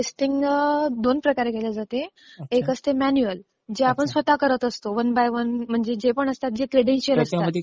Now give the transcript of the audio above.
Testing दोन प्रकारे केलं जाते, एक असते मॅन्युअल. जे आपण स्वतः करत असतो. वन बाय वन म्हणजे जे काही क्रेडेन्शियल्स असतात.